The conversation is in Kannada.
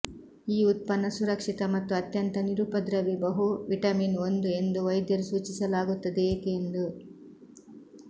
ಈ ಉತ್ಪನ್ನ ಸುರಕ್ಷಿತ ಮತ್ತು ಅತ್ಯಂತ ನಿರುಪದ್ರವಿ ಬಹು ವಿಟಮಿನ್ ಒಂದು ಎಂದು ವೈದ್ಯರು ಸೂಚಿಸಲಾಗುತ್ತದೆ ಏಕೆ ಎಂದು